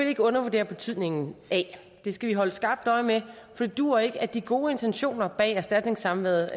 ikke undervurdere betydningen af det skal vi holde skarpt øje med for det duer ikke at de gode intentioner bag erstatningssamværet